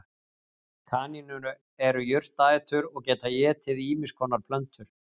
Kanínur eru jurtaætur og geta étið ýmiss konar plöntur.